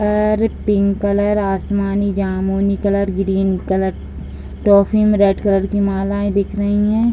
और pink colour आसमानी जामुनी कलर ग्रीन कलर ट्रॉफी में रेड कलर की मालाएं दिख रही हैं।